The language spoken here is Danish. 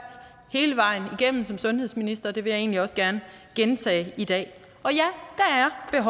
hele vejen igennem som sundhedsminister og det vil jeg egentlig også gerne gentage i dag